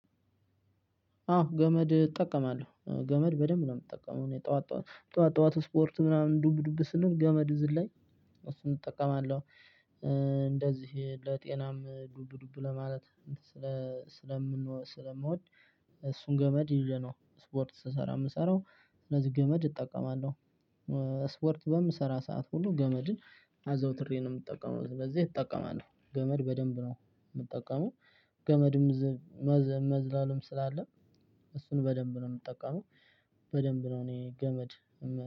አዎ ገመድ እጠቀማለሁ። ገመድ በደንብ ነው የምጠቀመው። እኔ ጠዋት ጠዋት ጠዋት ስፖርት ምናምን ዱብ ዱብ ስንል ገመድ ዝል ላይ እሱን እጠቀማለሁ። እንደዚህ ለጤናም ዱብ ዱብ ለማለት ስለምወድ እሱን ገመድ ይዤ ነው ሰፓርት ስሰራ የምሰራው። ስለዚህ ገመድ እጠቀማለሁ። ስፖርት በምሰራ ሰዓት ሁሉ ገመድን አዘውትሬ ነው የምጠቀመው። በዚህ እጠቀማለሁ። ገመድ በደንብ ነው የምጠቀመው። ገመድም መዝለልም ስላለ እሱን በደንብ ነው የምጠቀመው። በደንብ ነው እኔ ገመድ